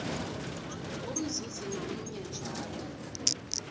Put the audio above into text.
umzuzi ngamunye njalo